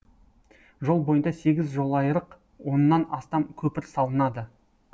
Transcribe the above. жол бойында сегіз жолайрық оннан астам көпір салынады